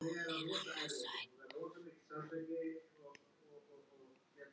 Hvað hún er annars sæt!